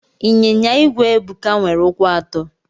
Inyinya igwe Ebuka nwere ụkwụ atọ.